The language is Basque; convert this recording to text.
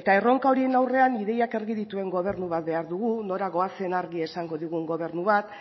eta erronka horien aurrean ideiak argi dituen gobernu bat behar dugu nora goazen argi esango digun gobernu bat